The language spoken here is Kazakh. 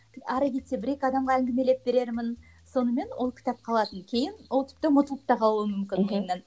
ары кетсе бір екі адамға әңгімелеп берермін сонымен ол кітап қалатын кейін ол тіпті ұмытылып та қалуы мүмкін ойымнан мхм